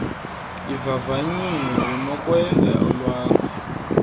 ivavanyiwe unokwenza olwakho